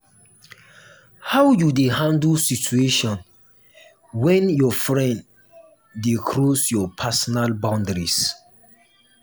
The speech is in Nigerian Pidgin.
how you dey handle situation when your friend dey cross your personal boundary?